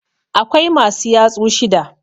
Akwai masu yatsu shida.